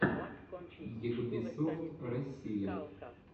йгбисофт россия